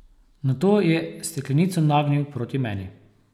Nato je steklenico nagnil proti meni.